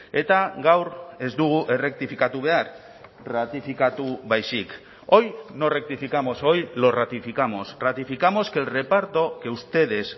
eta gaur ez dugu errektifikatu behar ratifikatu baizik hoy no rectificamos hoy lo ratificamos ratificamos que el reparto que ustedes